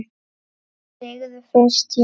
Segðu fyrst já!